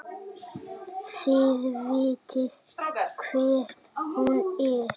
Þið vitið hver hún er!